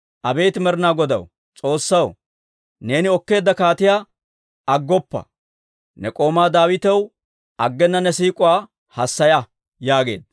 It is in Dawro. Abeet Med'inaa Godaw, S'oossaw, neeni okkeedda kaatiyaa aggoppa. Ne k'oomaa Daawitaw aggena ne siik'uwaa hassaya» yaageedda.